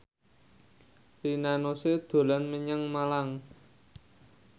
Rina Nose dolan menyang Malang